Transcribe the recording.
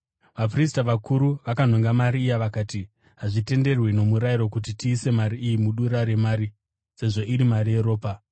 Vaprista vakuru vakanhonga mari iya vakati, “Hazvitenderwi nomurayiro kuti tiise mari iyi mudura remari, sezvo iri mari yeropa.”